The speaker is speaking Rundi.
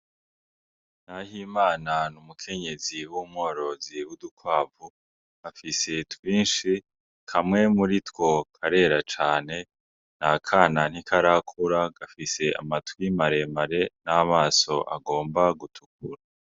Naho imana n' umukenyezi w'umworozi w'udukwavu gafise twinshi kamwe muri two karera cane n a kana ntikarakura gafise amatwimaremare n'amaso agomba gutukura.